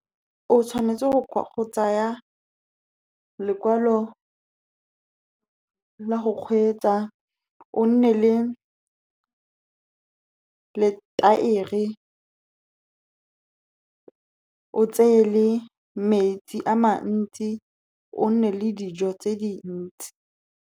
O tshwanetse go tsaya lekwalo la go kgweetsa, o nne le letaere, o tseye le metsi a mantsi, o nne le dijo tse dintsi.